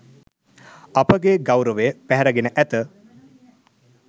අපගේ ගෞරවය පැහැරගෙන ඇත.